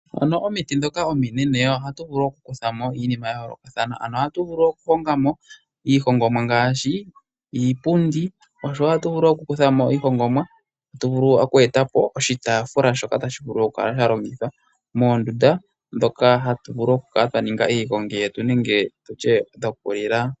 Momiti ndhoka ominene ohatu vulu oku kutha mo iinima ya yoolokathana. Ohatu vulu oku hongamo iihongomwa ngaashi: iipundi niitaafula mbyoka tayi vulu oku kala ya longithwa moondunda moka hatu vulu oku ninga iigongi nenge tutye dhoku li la.